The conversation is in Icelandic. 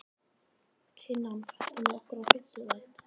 Kinan, ferð þú með okkur á fimmtudaginn?